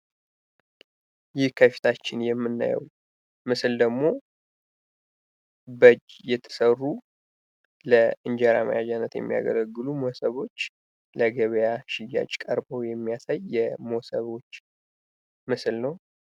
ይህ ከፊታችን የምናየው ምስል ደግሞ በእጅ የተሰሩ ለእንጀራ መያዣነት የሚያገለግሉ ሞሰቦች ለገበያ ሽያጭ ቀርበው የሚያሳይ የሞሰቦች ምስል ነው።